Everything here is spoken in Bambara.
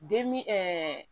Demi